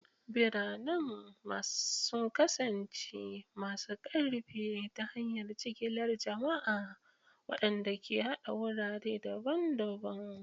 Biranen sun kasance masu ƙarfi ta hanyar jigilar jama'a, waɗanda ke haɗa wurare daban-daban.